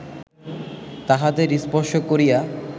তাহাদের স্পর্শ করিয়া